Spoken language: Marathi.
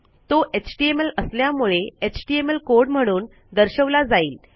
तो एचटीएमएल असल्यामुळे एचटीएमएल कोड म्हणून दर्शवला जाईल